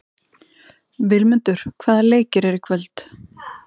Vilmundur, hvaða leikir eru í kvöld?